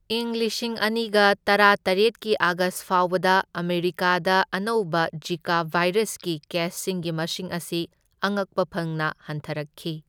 ꯏꯪ ꯂꯤꯁꯤꯡ ꯑꯅꯤꯒ ꯇꯔꯥꯇꯔꯦꯠꯀꯤ ꯑꯥꯒꯁ ꯐꯥꯎꯕꯗ ꯑꯃꯦꯔꯤꯀꯥꯗ ꯑꯅꯧꯕ ꯖꯤꯀꯥ ꯚꯥꯏꯔꯁꯀꯤ ꯀꯦꯁꯁꯤꯡꯒꯤ ꯃꯁꯤꯡ ꯑꯁꯤ ꯑꯉꯛꯄ ꯐꯪꯅ ꯍꯟꯊꯔꯛꯈꯤ꯫